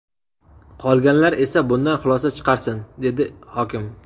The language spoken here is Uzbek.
Qolganlar esa bundan xulosa chiqarsin”, dedi hokim.